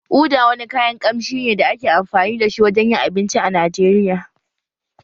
Uda wani kayan kamshi ne da ake amfani da shi wajen yin abinci a Najeriya